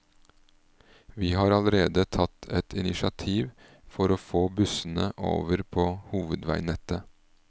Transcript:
Vi har allerede tatt et initiativ for å få bussene over på hovedveinettet.